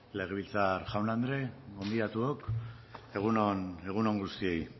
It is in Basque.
legebiltzar jaun andreok gonbidatuok egun on guztioi